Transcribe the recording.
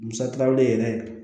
Musakaw le yɛrɛ